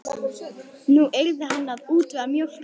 Nú yrði hann að útvega mjólk handa honum.